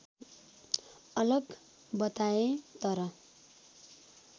अलग बताए तर